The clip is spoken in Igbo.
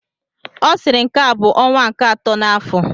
Ọ sịrị nke a bụ ọnwa nke akọ n'afọ!